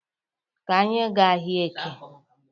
Ka anyị gaa ahịa Eke